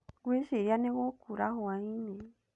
Ngwĩciria nĩ gũkuura hwainĩ.